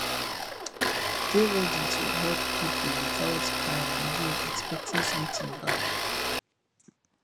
dey ready to help pipo without um you expecting something back